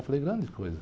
Eu falei, grande coisa.